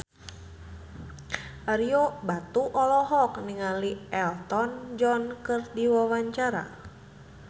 Ario Batu olohok ningali Elton John keur diwawancara